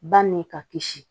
Ba ni ka kisi